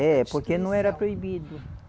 É, porque não era proibido.